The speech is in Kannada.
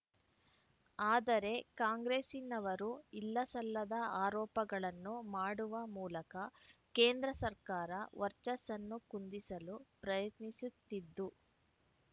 ಅದರೆ ಕಾಂಗ್ರೆಸ್ಸಿನವರು ಇಲ್ಲಸಲ್ಲದ ಆರೋಪಗಳನ್ನು ಮಾಡುವ ಮೂಲಕ ಕೇಂದ್ರ ಸರ್ಕಾರ ವರ್ಚಸನ್ನು ಕುಂದಿಸಲು ಪ್ರಯತ್ನಿಸುತ್ತಿದ್ದು